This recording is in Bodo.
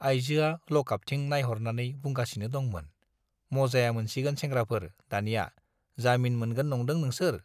आइजोआ लकआपथिं नाइहरनानै बुंगासिनो दंमोन, मजाया मोनसिगोन सेंग्राफोर दानिया, जामिन मोनगोन नंदों नोंसोर?